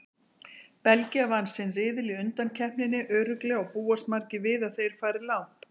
Belgía vann sinn riðil í undankeppninni örugglega og búast margir við að þeir fari langt.